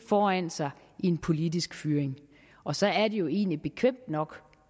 foran sig i en politisk fyring og så er det jo egentlig bekvemt nok